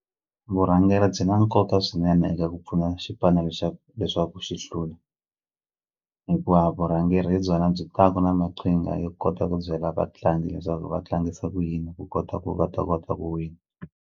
Vurhangeri byi na nkoka swinene eka ku pfuna xipano lexaku leswaku xi hlula hikuva vurhangeri hi byona byi taku na maqhinga yo kota ku byela vatlangi leswaku va tlangisa ku yini ku kota ku va ta kota ku wina.